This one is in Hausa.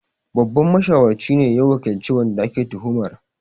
Babban mashawarci ne ya wakilci wanda ake tuhumar